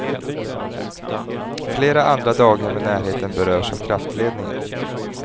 Flera andra daghem i närheten berörs av kraftledningen.